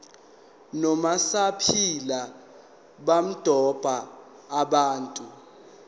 nomasipala bamadolobha abathathu